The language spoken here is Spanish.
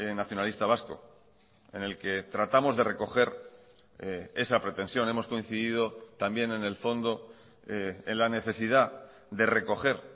nacionalista vasco en el que tratamos de recoger esa pretensión hemos coincidido también en el fondo en la necesidad de recoger